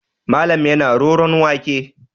Malam yana roron wake.